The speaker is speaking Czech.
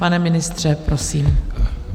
Pane ministře, prosím.